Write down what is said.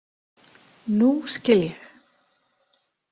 Nú skil ég.